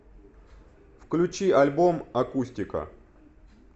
включи альбом акустика